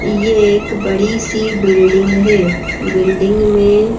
ये एक बड़ी सी बिल्डिंग है बिल्डिंग में--